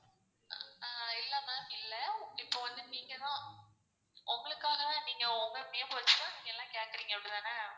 ஆஹ் இல்ல ma'am இல்ல இப்போ வந்துட்டு நீங்க தான் உங்களுக்காக நீங்க உங்க name வச்சா நீங்க எல்லா கேட்க்றீங்க அப்டிதான?